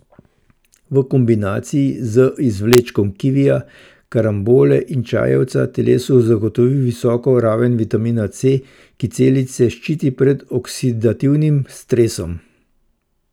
V kombinaciji z izvlečkom kivija, karambole in čajevca telesu zagotovi visoko raven vitamina C, ki celice ščiti pred oksidativnim stresom.